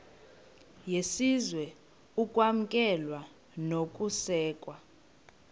yesizwe ukwamkelwa nokusekwa